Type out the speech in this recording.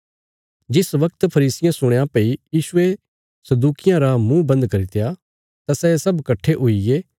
जिस बगत फरीसियें सुणया भई यीशुये सदूकियां रा मुँह बन्द करित्या तां सै सब कट्ठे हुईगे